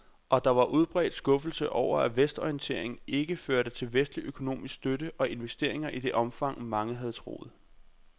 Og der var udbredt skuffelse over, at vestorienteringen ikke førte til vestlig økonomisk støtte og investeringer i det omfang, mange havde troet.